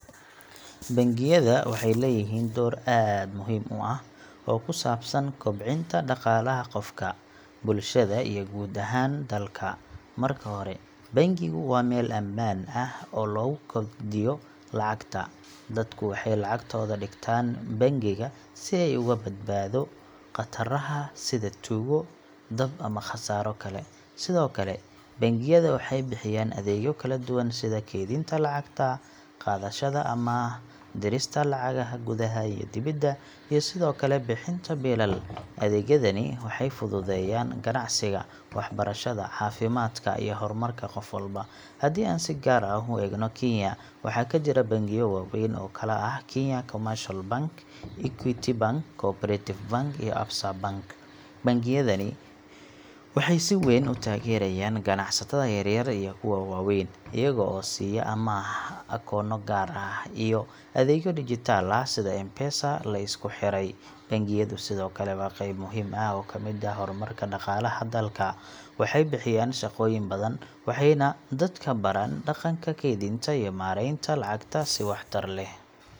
Bangiyada waxay leeyihiin door aad muhiim u ah oo ku saabsan kobcinta dhaqaalaha qofka, bulshada iyo guud ahaan dalka. Marka hore, bangigu waa meel ammaan ah oo lagu kaydiyo lacagta. Dadku waxay lacagtooda dhigtaan bangiga si ay uga badbaado khataraha sida tuugo, dab ama khasaaro kale. Sidoo kale, bangiyada waxay bixiyaan adeegyo kala duwan sida kaydinta lacagta, qaadashada amaah, dirista lacagaha gudaha iyo dibadda, iyo sidoo kale bixin biilal. Adeegyadani waxay fududeeyaan ganacsiga, waxbarashada, caafimaadka iyo horumarka qof walba. Haddii aan si gaar ah u eegno Kenya, waxaa ka jira bangiyo waaweyn oo kala ah Kenya Commercial Bank , Equity Bank, Co-operative Bank, iyo Absa Bank. Bangiyadani waxay si weyn u taageeraan ganacsatada yaryar iyo kuwa waaweyn, iyaga oo siiya amaah, akoonno gaar ah, iyo adeegyo dijitaal ah sida M-Pesa la isku xiray. Bangiyadu sidoo kale waa qayb muhiim ah oo ka mid ah horumarka dhaqaalaha dalka. Waxay bixiyaan shaqooyin badan, waxayna dadka baraan dhaqanka kaydinta iyo maareynta lacagta si waxtar leh.